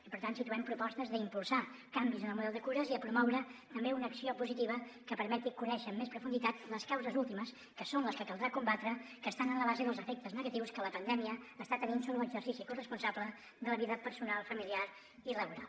i per tant situem propostes d’impulsar canvis en el model de cures i de promoure també una acció positiva que permeti conèixer amb més profunditat les causes últimes que són les que caldrà combatre que estan en la base dels efectes negatius que la pandèmia està tenint so·bre l’exercici corresponsable de la vida personal familiar i laboral